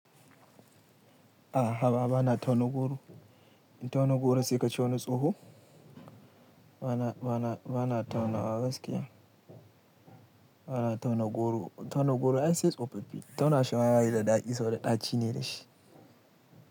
Aha haba bana tauna goro. Tauna goro sai ka ciyo ni tsoho. Bana, bana, bana tauna wa gaskiya. Bana tauna goro, tauna goro ai sai tsofo fi. Tauna shima bayi da dadi saboda ɗaci ne da shi.